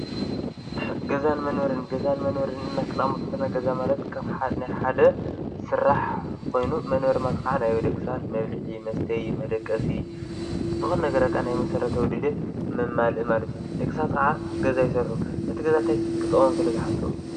ገዛን መነበርን፣ ገዛን መንበርን እልና ኽነቅምጥ ከለና ገዛ መንበርን ማለት ከም ናይ ሓደ ስራሕ ኾይኑ፣ መነበሪ ማለትኸዓ ናይ ደቂ ሳባት መብሊዒ፣ መስተይ፣ መደቀሲ ዝኾ ነገረ በቃ ናይ መሠረታዊ ድልየት መማልኢ እዩ። ደቂ ሳባት ኸዓ ገዛ ይሰርሑ እቲ ገዛ ታይ ክጠቅሞም ስለ ዝሓሰቡ እዩ?